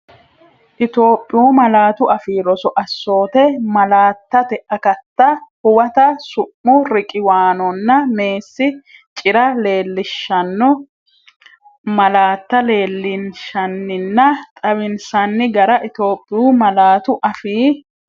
Itophiyu Malaatu Afii Roso Assoote Malaattate Akatta Huwata Su’mu riqiwaanonna meessi cira leellishshanno malaatta leellinshanninna xawinsanni gara Itophiyu Malaatu Afii.